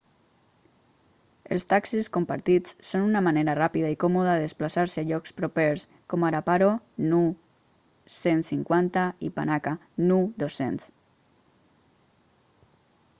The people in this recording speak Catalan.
els taxis compartits són una manera ràpida i còmoda de desplaçar-se a llocs propers com ara paro nu 150 i panakha nu 200